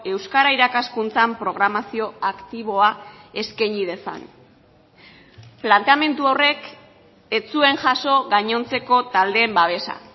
euskara irakaskuntzan programazio aktiboa eskaini dezan planteamendu horrek ez zuen jaso gainontzeko taldeen babesa